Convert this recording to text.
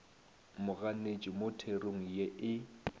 moganetši mo therong ye e